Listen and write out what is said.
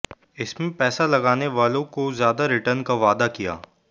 इसमें पैसा लगाने वालों को ज्यादा रिटर्न का वादा किया